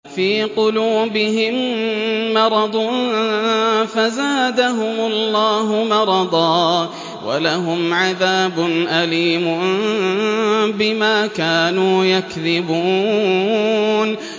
فِي قُلُوبِهِم مَّرَضٌ فَزَادَهُمُ اللَّهُ مَرَضًا ۖ وَلَهُمْ عَذَابٌ أَلِيمٌ بِمَا كَانُوا يَكْذِبُونَ